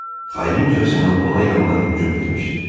Şpiç xaincəsinə ona yandan hücum etmişdi.